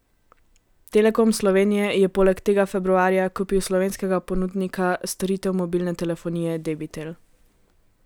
Telekom Slovenije je poleg tega februarja kupil slovenskega ponudnika storitev mobilne telefonije Debitel.